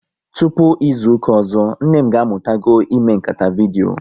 Tụpụ izuka ọzọ, nne m ga amụtago ime nkata vidyo